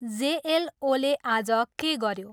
जेएलओले आज के गऱ्यो?